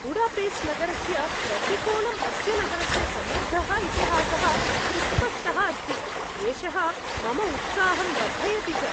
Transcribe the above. Budapest नगरस्य प्रतिकोणम् अस्य नगरस्य समृद्धः इतिहासः सुस्पष्टः अस्ति, एषः मम उत्साहं वर्धयति च।